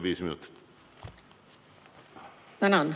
Tänan!